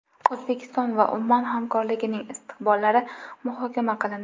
O‘zbekiston va Ummon hamkorligining istiqbollari muhokama qilindi.